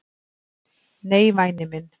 """Nei, væni minn."""